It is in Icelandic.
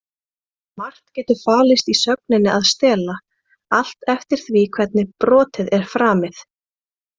Margt getur falist í sögninni að stela, allt eftir því hvernig brotið er framið.